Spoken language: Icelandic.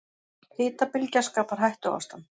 Hitabylgja skapar hættuástand